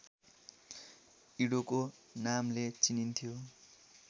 इडोको नामले चिनिन्थ्यो